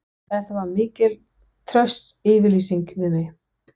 Þetta var mikil trausts yfirlýsing við mig.